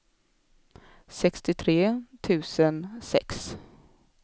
sextiotre tusen sex